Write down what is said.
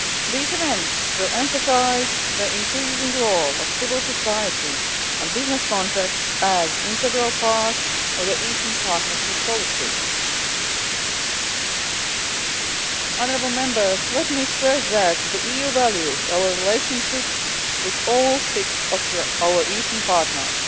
These events will emphasise the increasing role of civil society and business contacts as an integral part of the Eastern Partnership policy. Let me stress that the EU values our relationship with all six of our Eastern partners